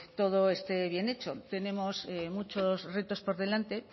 todo esté bien hecho tenemos muchos retos por delante